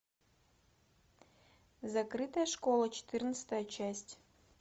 закрытая школа четырнадцатая часть